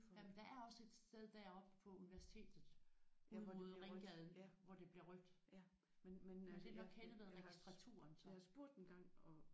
Jamen der er også et sted deroppe på universitetet ud mod Ringgaden hvor det bliver rødt men men øh det er nok henne ved registraturen så